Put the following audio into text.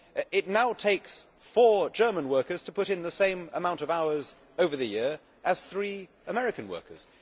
It now takes four German workers to put in the same amount of hours over the year as three American workers